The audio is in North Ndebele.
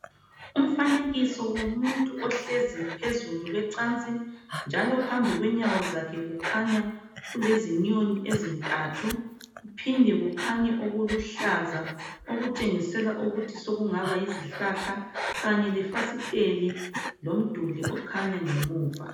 Umfanekiso womuntu ohlezu phezulu kwecansi njalo phambi kwenyawo zakhe kukhanya kulezinyoni ezintathu kuphinde kukhanye okuluhlaza okutshengisela ukuthi sokungaba yizihlahla kanye lefasiteli lomduli okhanya ngemuva.